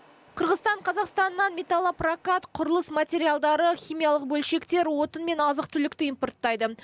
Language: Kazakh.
қырғызстан қазақстаннан металлопрокат құрылыс материалдары химиялық бөлшектер отын мен азық түлікті импорттайды